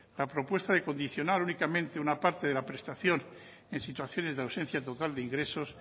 la propuesta de condicionar únicamente una parte de la prestación en situaciones de ausencia total de ingresos